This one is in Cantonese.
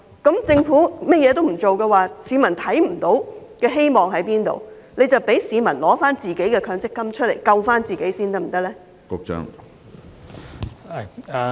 如果政府甚麼也不做，市民根本看不見希望，所以請政府准許市民提取自己的強積金自救，可以嗎？